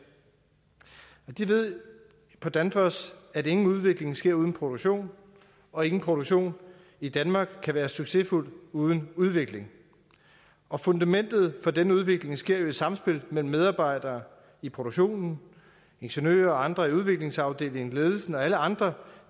de ved på danfoss at ingen udvikling sker uden produktion og ingen produktion i danmark kan være succesfuld uden udvikling og fundamentet for denne udvikling sker jo i et samspil mellem medarbejdere i produktionen ingeniører og andre i udviklingsafdelingen ledelsen og alle andre